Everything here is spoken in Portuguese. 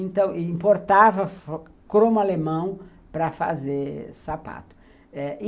Então, importava cromo alemão para fazer sapato e